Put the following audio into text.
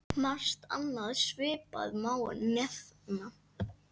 Margt annað svipað má nefna.